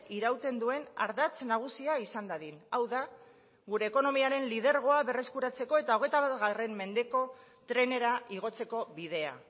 irauten duen ardatz nagusia izan dadin hau da gure ekonomiaren lidergoa berreskuratzeko eta hogeita bat mendeko trenera igotzeko bidea